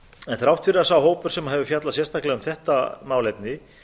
þrátt fyrir að sá hópur sem hefur fjallað sérstaklega um þetta málefni